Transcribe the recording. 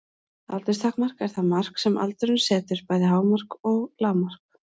Aldurstakmark er það mark sem aldurinn setur, bæði hámark og lágmark.